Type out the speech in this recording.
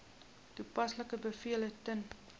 toepaslike bevele ten